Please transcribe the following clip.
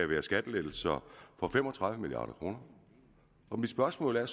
være skattelettelser for fem og tredive milliard kr og mit spørgsmål er